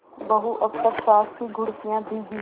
बहू अब तक सास की घुड़कियॉँ भीगी